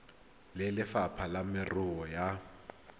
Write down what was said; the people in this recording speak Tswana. le lefapha la merero ya